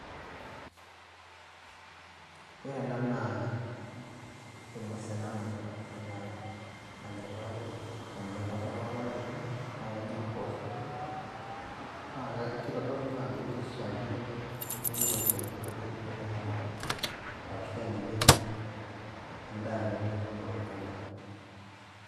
Ore ena naa eng'ues ena nanya nanya irpaek oleng' nanya ntapuka orpaek oleng' naake enya mpoosho. Naake kitodolu naa ajo kishaakino nipik olchani piitumoki ataara arashu enya mbenek endaa ino nituuno tolchamba.